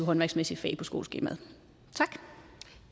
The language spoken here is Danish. håndværksmæssige fag på skoleskemaet